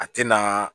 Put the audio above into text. A tɛna